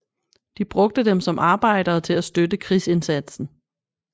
De brugte dem som arbejdere til at støtte krigsindsatsen